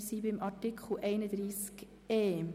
Wir sind nun bei Artikel 31e (neu) angelangt.